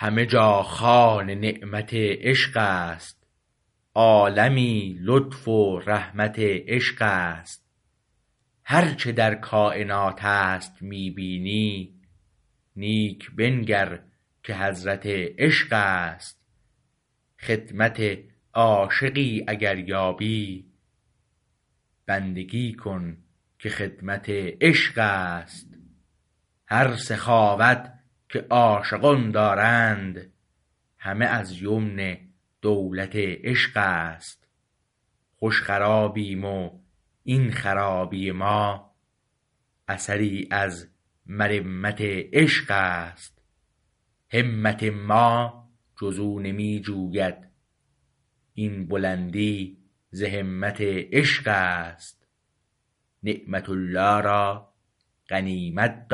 همه جا خوان نعمت عشق است عالمی رحمت عشق است هر چه در کاینات است می بینی نیک بنگر که حضرت عشق است خدمت عاشقی اگر یابی بندگی کن که خدمت عشق است هر سخاوت که عاشقان دارند همه از یمن دولت عشق است خوش خرابیم و این خرابی ما اثری از مرمت عشق است همت ما جز او نمی جوید این بلندی ز همت عشق است نعمت الله را غنیمت